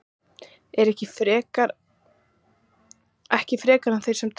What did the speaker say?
ekki frekar en þeir sem trúa ekki